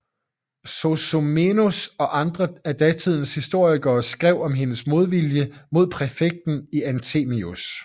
Sozomenos og andre af datidens historikere skrev om hendes modvilje mod præfekten Anthemius